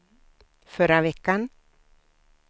förra veckan